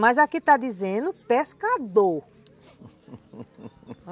Mas aqui está dizendo pescador